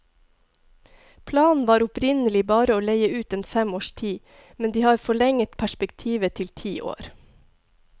Planen var opprinnelig bare å leie ut en fem års tid, men de har forlenget perspektivet til ti år.